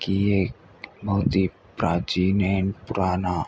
की बहोत ही प्राचीन एवं पुराना --